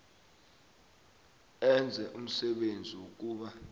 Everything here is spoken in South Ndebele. enze umsebenzi wokuba